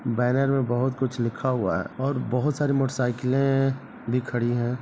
Banner में बोहोत कुछ लिखा हुआ है और बहोत सारी मोटर साइकिलें भी खड़ी है।